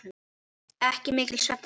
Ekki mikill svefn þá.